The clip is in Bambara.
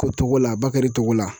Ko Togola Bakari Togola